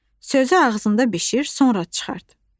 Sözü ağzında bişir, sonra çıxart.